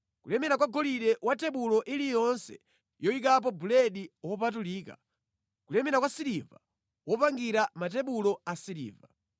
kulemera kwa golide wa tebulo iliyonse yoyikapo buledi wopatulika; kulemera kwa siliva wopangira matebulo asiliva;